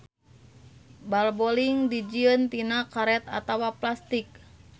Bal boling dijieun tina karet atawa plastik.